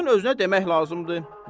Şeyxin özünə demək lazımdır.